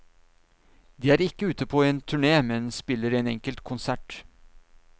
De er ikke ute på en turné, men spiller en enkelt konsert.